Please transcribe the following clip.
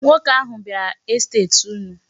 Nwoke ahụ bịara n'estet unu.